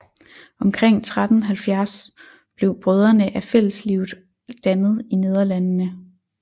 Omkring 1370 blev Brødrene af Fælleslivet dannet i Nederlandene